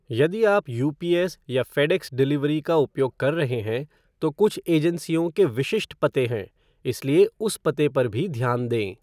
यदि आप यूपीएस या फ़ेडेक्स डिलीवरी का उपयोग कर रहे हैं, तो कुछ एजेंसियों के विशिष्ट पते हैं, इसलिए उस पते पर भी ध्यान दें।